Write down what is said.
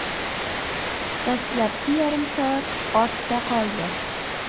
Dastlabki yarim soat ortda qoldi.